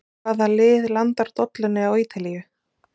Hvaða lið landar dollunni á Ítalíu?